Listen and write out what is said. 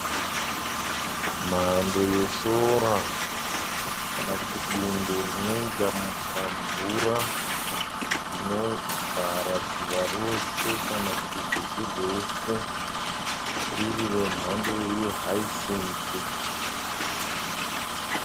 Mhando yesora kana kuti bundo rinoita pamvura rinovhara dziva rose kana kuti rwizi rwese riri remhando ye hyacinth.